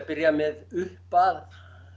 byrja með upp að